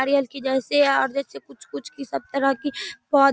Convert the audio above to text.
नारियल के जैसे और आगे से कुछ-कुछ की सब तरह की पौध --